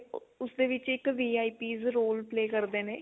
ਉਹ ਉਸਦੇ ਵਿੱਚ ਇੱਕ VIP'srole play ਕਰਦੇ ਨੇ